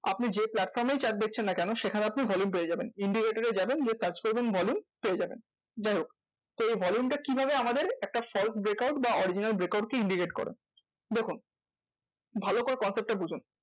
আপনি যে platform এই chart দেখছেন না কোনো? সেখানে আপনি volume পেয়ে যাবেন। indicator এ যাবেন গিয়ে search করবেন volume পেয়ে যাবেন। যাইহোক তো এই volume টা কিভাবে আমাদের একটা false break out বা original break out কে indicate করে? দেখুন ভালো করে concept বঝুন,